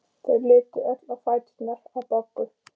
Þau litu öll á fæturna á Boggu.